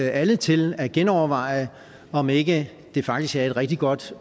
alle til at genoverveje om ikke det faktisk er et rigtig godt